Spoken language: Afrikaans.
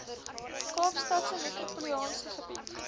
kaapstadse metropolitaanse gebied